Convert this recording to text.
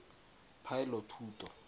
poelothuto